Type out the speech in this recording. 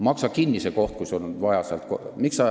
Maksa kinni see koht, kui sul on vaja!